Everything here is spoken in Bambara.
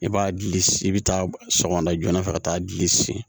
I b'a gili i bɛ taa sɔgɔmada joona fɛ ka taa gili si